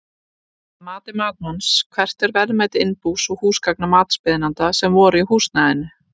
Að mati matsmanns, hvert er verðmæti innbús og húsgagna matsbeiðanda sem voru í húsnæðinu?